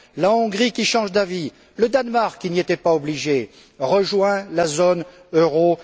La Hongrie, qui change d'avis, le Danemark, qui n'y était pas obligé, rejoint la zone euro.